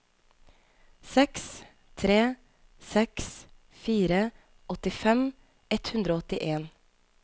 seks tre seks fire åttifem ett hundre og åttien